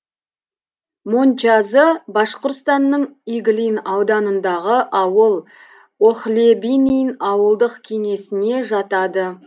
мончазы башқұртстанның иглин ауданындағы ауыл охлебинин ауылдық кеңесіне жатады